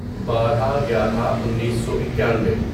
بارہ گیارہ انیسو اکانوے